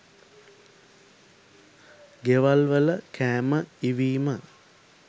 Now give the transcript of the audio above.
ගෙවල්වල කෑම ඉවීම